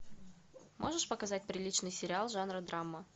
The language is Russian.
можешь показать приличный сериал жанра драма